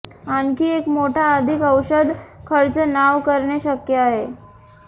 आणखी एक मोठा अधिक औषध खर्च नाव करणे शक्य आहे